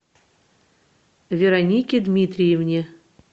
веронике дмитриевне